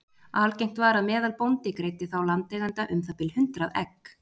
algengt var að meðalbóndi greiddi þá landeiganda um það bil hundrað egg